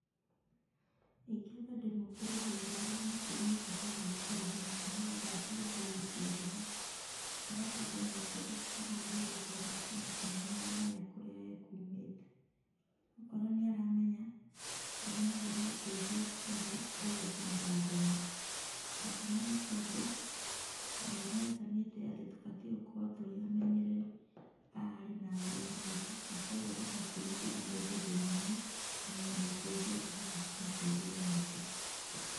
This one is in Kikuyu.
Ingĩamba ndĩmũũkĩrie hau ndoro-inĩ ndĩmũige handũ hatarĩ hahehu nĩgetha atige kũgucia heho. Halafu ndĩmũũkĩrie ndĩmũũrie rĩtwa rĩake na kana nĩ aramenya kũrĩa ekuumĩte. Okorwo nĩ aramenya ndĩmwethere ũteithio ũrĩa egũkinyĩra andũ ao. Gĩtũmi nĩ tondũ Ngai nĩ athanĩte atĩ tũbatiĩ gũkorwo tũrĩ amenyereri a aarĩ na aariũ a maitũ na koguo ndũbatiĩ gũtiga mũndũ thĩna-inĩ na wĩna ũteithio ũngĩhota kũmũteithia naguo.